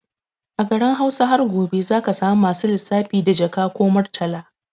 A garin Hausa har gobe zaka samu masu lissafi da Jaka or Murtala